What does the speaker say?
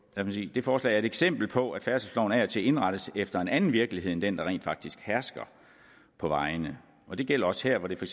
det forslag er et eksempel på at færdselsloven af og til indrettes efter en anden virkelighed end den der rent faktisk hersker på vejene og det gælder også her hvor det for